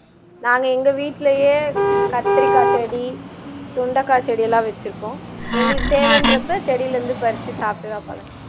நாங்க எங்க வீட்டிலேயே கத்தரிக்காய் செடி, சுண்டைக்காய் செடியெல்லாம் வச்சுருக்கோம் எங்களுக்கு தேவைன்றப்போ செடிலே இருந்து பரிச்சு சாப்பிட்டுதான் பழக்கம்